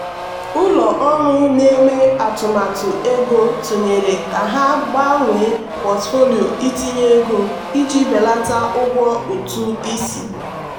ụlọ ọrụ na-eme atụmatụ ego tụnyere ka ha gbanwee pọtụfoliyo ntinye ego iji belata ụgwọ ụtụ isi.